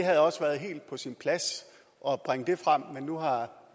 havde også været helt på sin plads at bringe det frem men nu har